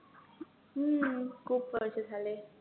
हम्म खूप वर्ष झाले.